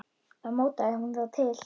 Þá mótaði hún þá til.